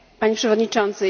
Panie Przewodniczący!